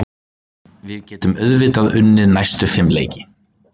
Við getum auðvitað unnið næstu fimm leiki.